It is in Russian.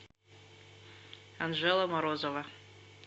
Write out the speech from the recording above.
анжела морозова